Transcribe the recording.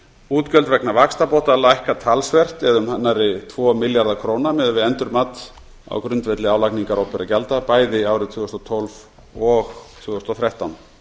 útgjöld vegna vaxtabóta lækka talsvert það er um nærri tvo milljarða króna miðað við endurmat á grundvelli álagningar opinberra gjalda bæði árin tvö þúsund og tólf og tvö þúsund og þrettán